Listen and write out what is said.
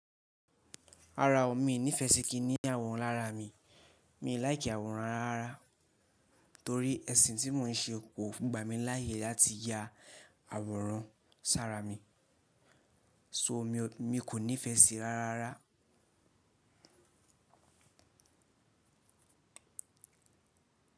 Rara ọ̀ mi nífẹ́ṣi kí ní àwòrán lára mi. Mi ò láì kí àwòrán rárá. Torí ẹṣin tí mò ń ṣe kò gbà mí láàyè láti yá àwòrán sára mi. So mi kò nífẹ́ ṣi rára rara.